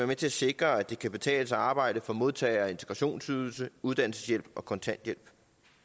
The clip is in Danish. med til at sikre at det kan betale sig at arbejde for modtagere af integrationsydelse uddannelseshjælp og kontanthjælp